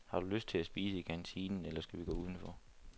Har du lyst til at spise i kantinen, eller skal vi gå udenfor?